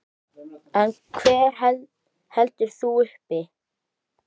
En hver heldur þeim uppi?